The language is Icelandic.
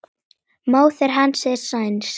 Móðir hans er sænsk.